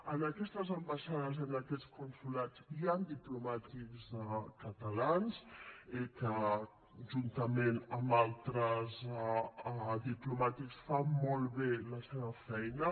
en aquestes ambaixades i en aquests consolats hi han diplomàtics catalans que juntament amb altres diplomàtics fan molt bé la seva feina